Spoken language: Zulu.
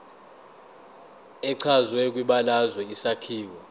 echazwe kwibalazwe isakhiwo